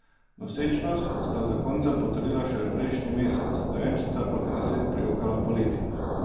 Nosečnost sta zakonca potrdila šele prejšnji mesec, dojenčica pa bo na svet prijokala poleti.